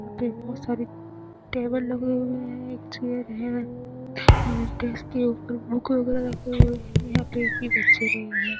यहाँ पे एक बहोत सारी टेबल लगे हुए हैं । एक चेयर है और डेस्क के ऊपर बुक वगैरह रखे हुए हैं यहाँ पे एक भी बच्चे नहीं हैं।